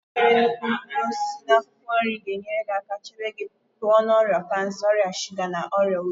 Nri nwere nnukwu mkpụrụ osisi na akwụkwọ nri ga-enyere aka chebe gị pụọ na ọrịa kansa, ọrịa shuga na ọrịa obi.